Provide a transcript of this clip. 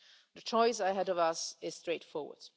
USA. The choice ahead of us is straightforward.